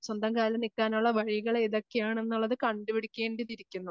സ്വന്തം കാലിൽ നിൽക്കാനുള്ള വഴികളെതൊക്കെയാണെന്നുള്ളത് കണ്ടുപിടിക്കേണ്ടിയിരിക്കുന്നു.